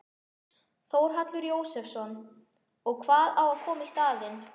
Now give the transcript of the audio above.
Þórhallur Jósefsson: Og hvað á að koma í staðinn?